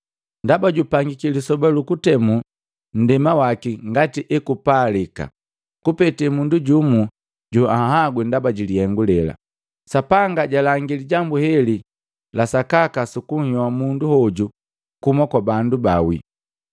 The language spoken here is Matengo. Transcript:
“Ndaba jupangiki lisoba lu kutemu nndema waki ngati ekupalika, kupete mundu jumu joanhagwi ndaba jilihengu lela. Sapanga jalangi lijambu heli la sakaka sukunhyoa mundu hoju kuhuma kwa bandu baawi!”